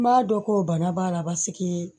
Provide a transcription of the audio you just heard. N b'a dɔn ko bana b'a la basigi